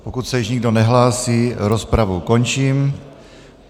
Pokud se již nikdo nehlásí, rozpravu končím.